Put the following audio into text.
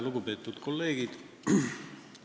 Lugupeetud kolleegid!